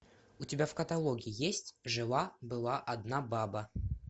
у тебя в каталоге есть жила была одна баба